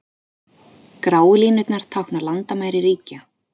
Gráu línurnar tákna landamæri ríkja.